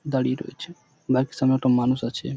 দাঁড়িয়ে রয়েছে বাইক -এর সামনে একটা মানুষ আছে ।